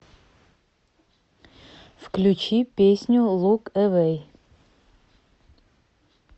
включи песню лук эвей